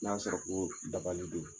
N'a y'a sɔrɔ ko dabali don